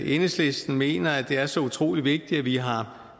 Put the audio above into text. enhedslisten mener at det er så utrolig vigtigt at vi har